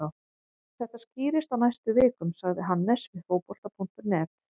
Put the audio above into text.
Þetta skýrist á næstu vikum, sagði Hannes við Fótbolta.net.